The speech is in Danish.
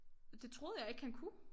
Det troede jeg ikke han kunne